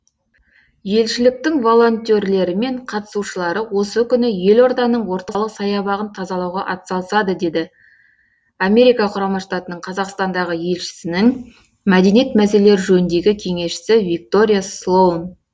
елшіліктің волентерлері мен қатысушылары осы күні елорданың орталық саябағын тазалауға атсалысады деді америка құрамы штаттартың қазақстандағы елшісінің мәдениет мәселелері жөніндегі кеңесшісі виктория слоун